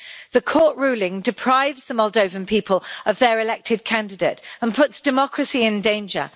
The court ruling deprives the Moldovan people of their elected candidate and puts democracy in danger.